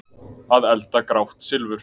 Að elda grátt silfur